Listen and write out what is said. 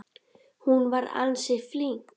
Hún var ansi flink.